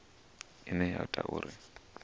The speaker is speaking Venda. ine ya ita uri hu